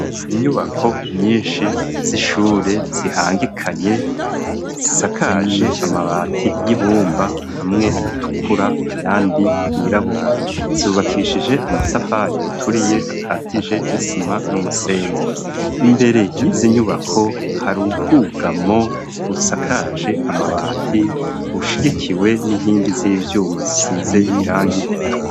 Inyubako nyinshi z'ishure zihangikanye, zisakaje amabati y'ibumba hamwe atukura ayandi yirabura. Zubakishije amatafari aturiye akatije n'isima n'umusenyi. Imbere y' izi nyubako hari ubwugamo busakaje amabati, bushigikiwe n'inkingi z'ivyuma zisize irangi ritukura.